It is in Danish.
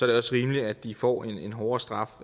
det rimeligt at de får en hårdere straf